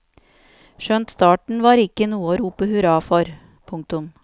Skjønt starten var ikke noe å rope hurra for. punktum